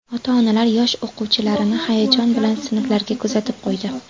Ota-onalar yosh o‘quvchilarni hayajon bilan sinflariga kuzatib qo‘ydi.